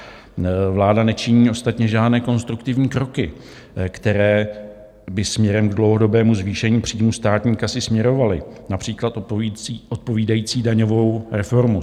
Vláda nečiní ostatně žádné konstruktivní kroky, které by směrem k dlouhodobému zvýšení příjmů státní kasy směrovaly, například odpovídající daňovou reformu.